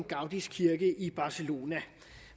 gaudis kirke i barcelona